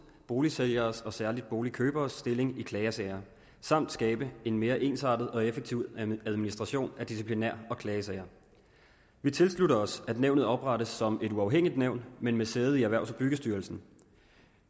boligsælgeres og særlig boligkøberes stilling i klagesager samt skabe en mere ensartet og effektiv administration af disciplinær og klagesager vi tilslutter os at nævnet oprettes som et uafhængigt nævn men med sæde i erhvervs og byggestyrelsen